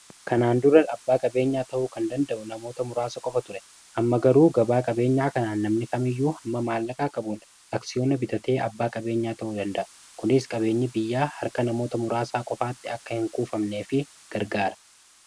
kanaan dura abbaa qabeenyaa ta'u kan danda'u namoota muraasa qofa ture amma garuu gabaa qabeenyaa kanaan namni fami iyyuu hamma maallaqaa qabuun aksiyoonna bitatee abbaa qabeenyaa ta'uu danda'u kuniis qabeenyi biyya harka namoota muraasaa qofaatti akka hin kuufamnee fi gargaara